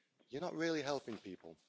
You're not really helping people.